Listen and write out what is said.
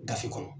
Gafe kɔnɔ